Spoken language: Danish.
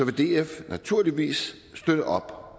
df naturligvis støtte op